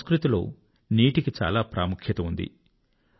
మన సంస్కృతిలో నీటికి చాలా ప్రాముఖ్యత ఉంది